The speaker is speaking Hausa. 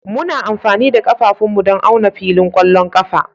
Muna amfani da ƙafafunmu don auna filin ƙwallon ƙafa